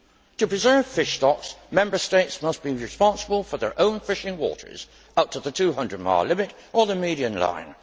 To preserve fish stocks, Member States must be responsible for their own fishing waters up to the 200 mile limit or the median line.